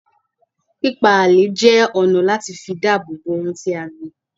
Pípá ààlè jẹ́ ọ̀nà láti fi dáàbòbò ohun tí a gbìn